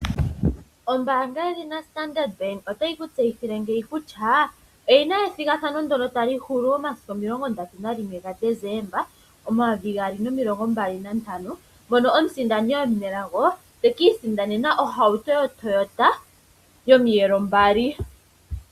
Ombaanga ndji ya Standard Bank ota yi ku tseyithile ngeyi kutya oyina ethigathano ndono yali hulu momasiku omilongo ndatu na yimwe ga Desemba omayovi gaali nomilongo mbali na ntano. Mono omusindani omunelago taka isindanena ohauto yo Toyata yomiyelo mbali.